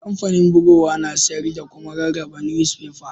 Kampanin bugowa na sayar da kuma rarraba nusfefas.